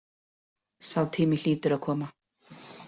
Sá tími hlýtur að koma.